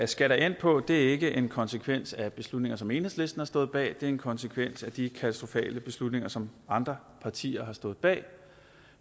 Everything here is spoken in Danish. skat er endt på er ikke en konsekvens af beslutninger som enhedslisten har stået bag det er en konsekvens af de katastrofale beslutninger som andre partier har stået bag